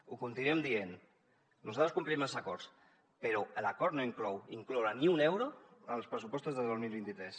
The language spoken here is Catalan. ho continuem dient nosaltres complim els acords però l’acord no inclourà ni un euro en els pressupostos de dos mil vint tres